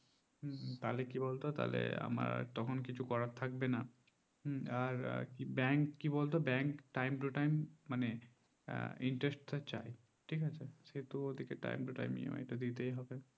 তা হলে কি বলতো তাহলে আমার তখন কিছু করা থাকবে না আর আর bank কি বলতো bank time to time মানে interest চাই ঠিক আছে সেটা তো time to timeEMI দিতে হবে